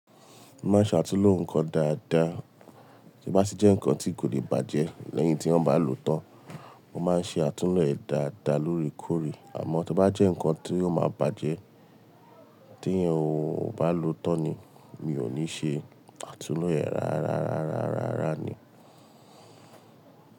Mo máa ń ṣe àtúnlo nǹkan dáadáa. Tí o bá sì jẹ́ nǹkan tí kò lè bàjẹ́ lẹ́yìn tí wón bá lòó tán, mo máa ń ṣe àtúnlo ẹ̀ dáadáa lóòrèkóòrè. Àmọ́ tí ó bá jẹ́ nǹkan tí ò máa bàjẹ́ tí ẹeyan ò bá lòó tán ni, mi ò ní ṣe àtúnlo ẹ̀ rárárárárárá ni.